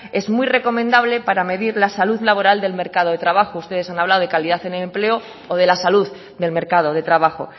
es muy recomendable para medir la salud laboral del mercado de trabajo ustedes han hablado de calidad en el empleo o de la salud del mercado de trabajo